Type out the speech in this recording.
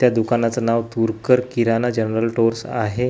त्या दुकानाचं नाव तुरकर किराणा जनरल स्टोअर्स आहे.